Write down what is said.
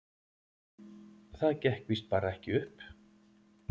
Það gekk víst bara ekki upp.